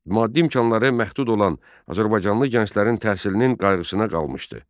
Maddi imkanları məhdud olan azərbaycanlı gənclərin təhsilinin qayğısına qalmışdı.